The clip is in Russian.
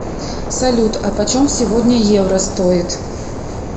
салют а почем сегодня евро стоит